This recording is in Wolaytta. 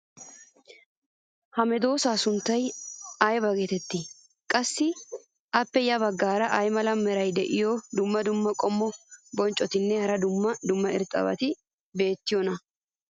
ha medoosaa sunttay ayba geetettii? qassi appe ya bagaara ay mala meray diyo dumma dumma qommo bonccotinne hara dumma dumma irxxabati beetiyoonaa?